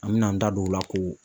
An mi n'an da don o la k'o